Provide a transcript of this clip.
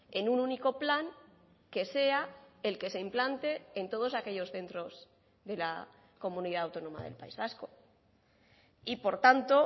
en un único plan que sea el que se implante en todos aquellos centros de la comunidad autónoma del país vasco y por tanto